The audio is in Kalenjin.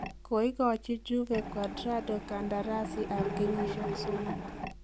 Koigochi Juve Cuadrado kandarasiit ab kenyisiek somok.